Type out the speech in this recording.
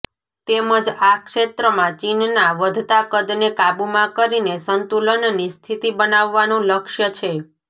તેમજ આ ક્ષેત્રમાં ચીનના વધતા કદને કાબૂમાં કરીને સંતુલનની સ્થિતિ બનાવવાનું લક્ષ્ય છે